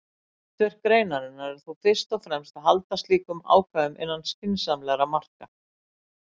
Hlutverk greinarinnar er þó fyrst og fremst að halda slíkum ákvæðum innan skynsamlegra marka.